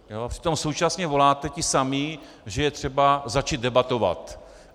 Přitom současně voláte, ti samí, že je třeba začít debatovat.